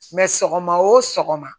sɔgɔma o sɔgɔma